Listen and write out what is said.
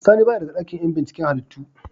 Sani baya daga dakin yan binciken halittu.